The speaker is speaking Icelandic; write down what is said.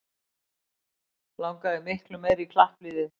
Langaði miklu meira í klappliðið